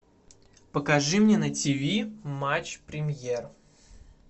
покажи мне на тв матч премьер